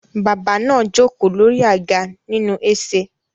Bàbá náà jókòó lórí àga nínú ese